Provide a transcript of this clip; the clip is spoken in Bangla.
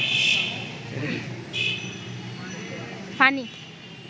ফানি